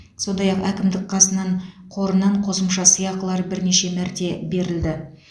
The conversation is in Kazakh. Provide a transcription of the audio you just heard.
сондай ақ әкімдік қасынан қорынан қосымша сыйақылар бірнеше мәрте берілді